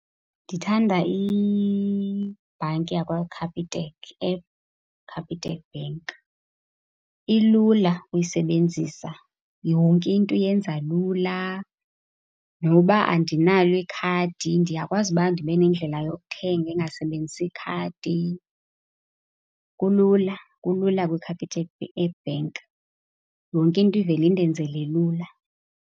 Ndithanda ibhanki yakwaCapitec, eCapitec Bank. Ilula ukuyisebenzisa, yonke into iyenza lula. Noba andinalo ikhadi ndiyakwazi uba ndibe nendlela yokuthenga engasebenzisi ikhadi. Kulula, kulula kwiCapitec Bank. Yonke into ivele indenzele lula.